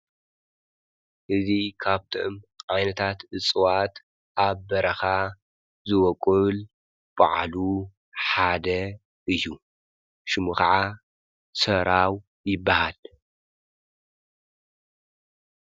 እዙ ኻብቶም ዓይነታት እፅዋት ኣብ በረኻ ዝወቊል ብዓሉ ሓደ እዩ። ሽሙ ኸዓ ሠራው ይበሃል።